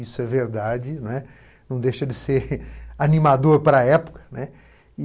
Isso é verdade, né, não deixa de ser animador para a época, né.